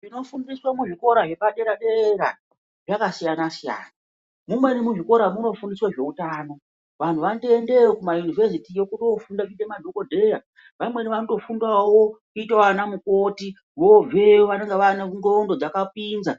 Zvinodzidziswa kuzvikoro zvepadera zvakasiyana siyana. Muzvimwe zvikoro munofundiswa zvehutano. Vanhu vano toendeyo kumayunivhesiti kunofundira kuita madhokodheya vanaweni vanofundawo kuita vana mukoti vobveyo vava ne ndxondo dzakapinza.